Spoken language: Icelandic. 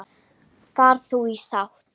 Far þú í sátt.